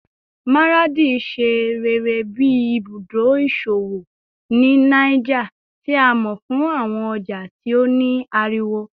Maradi ṣe rere bi ibudo iṣowo ni Niger, ti a mọ fun awọn ọja ti o ni ariwo